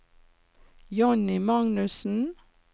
Jonny Magnussen